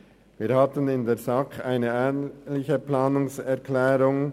Wir hatten in der SAK eine ähnliche Planungserklärung.